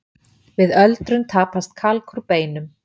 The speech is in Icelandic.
Við öldrun tapast kalk úr beinum.